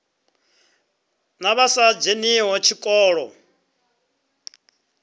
na vha sa dzheniho tshikolo